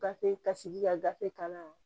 Gafe ka sigi ka gafe ka na